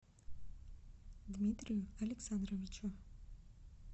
дмитрию александровичу